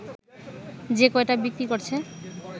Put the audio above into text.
যে কয়টা বিক্রি করছে